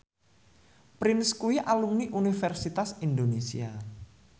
Prince kuwi alumni Universitas Indonesia